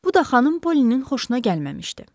Bu da xanım Polyinin xoşuna gəlməmişdi.